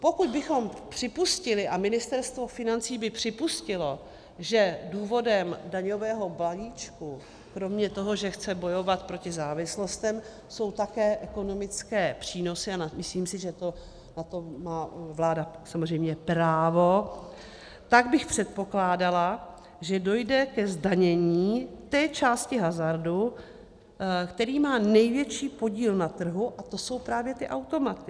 Pokud bychom připustili a Ministerstvo financí by připustilo, že důvodem daňového balíčku kromě toho, že chce bojovat proti závislostem, jsou také ekonomické přínosy, a myslím si, že na to má vláda samozřejmě právo, tak bych předpokládala, že dojde ke zdanění té části hazardu, která má největší podíl na trhu, a to jsou právě ty automaty.